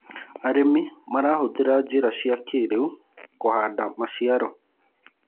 arĩmi marahuthira njira cia kĩiriu kuhanda maciaro